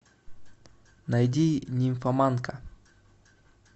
найди нимфоманка